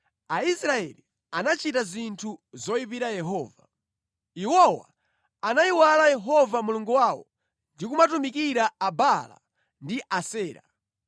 Aisraeli anachita zinthu zoyipira Yehova. Iwowa anayiwala Yehova Mulungu wawo ndi kumatumikira Abaala ndi Asera.